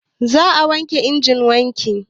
Za a wanke injin wanki